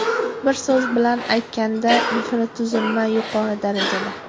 Bir so‘z bilan aytganda, infratuzilma yuqori darajada.